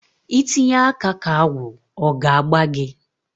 I Tinye aka ka agwụ ọ ga a gbaa gị?